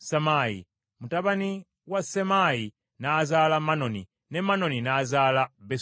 Mutabani wa Sammayi n’azaala Manoni, ne Mawoni n’azaala Besuzuli.